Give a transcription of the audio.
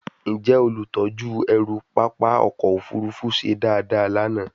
Njẹ olutọju ẹru papa ọkọ ofurufu se dada lana?